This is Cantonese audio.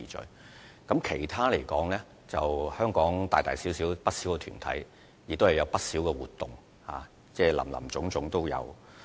至於其他方面，香港大大小小的團體均會舉辦不少活動，林林總總。